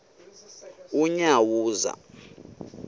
unyawuza